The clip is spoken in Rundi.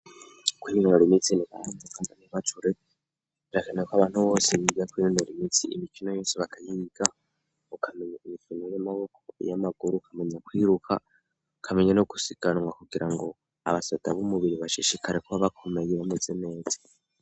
Kwinonora imitsi ni karahara muruganda ntibacure birakenewe ko abantu bose bija kwininora imitsi, imikino yose bakayiga ukamenya imikino y'amaboko, iy'amaguru kamenya kwiruka, ukamenya no gusiganwa kugirango abasoda bumubiri bashishikare kuba bakomeye bameze neza.